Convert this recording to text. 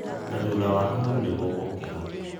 Na thũtha wa haũ, nĩmũgũkĩra"